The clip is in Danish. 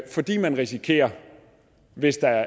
fordi man risikerer hvis der